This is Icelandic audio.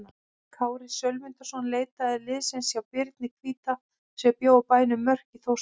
Kári Sölmundarson leitaði liðsinnis hjá Birni hvíta sem bjó á bænum Mörk í Þórsmörk.